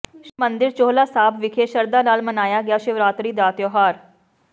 ਸਿ਼ਵ ਮੰਦਿਰ ਚੋਹਲਾ ਸਾਹਿਬ ਵਿਖੇ ਸ਼ਰਧਾ ਨਾਲ ਮਨਾਇਆ ਗਿਆ ਸਿ਼ਵਰਾਤਰੀ ਦਾ ਤਿਓਹਾਰ